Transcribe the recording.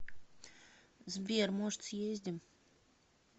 сбер может съездим